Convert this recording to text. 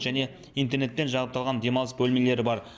және интернетпен жабдықталған демалыс бөлмелері бар